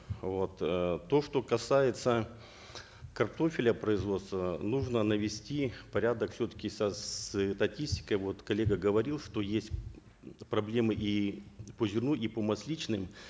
вот э то что касается картофеля производства нужно навести порядок все таки со вот коллега говорил что есть проблемы и по зерну и по масличным